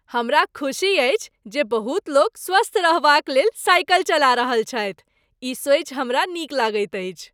हमरा खुसी अछि जे बहुत लोक स्वस्थ रहबाक लेल साइकिल चला रहल छथि। ई सोचि हमरा नीक लगैत अछि।